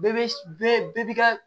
Bɛɛ bɛ bɛɛ b'i ka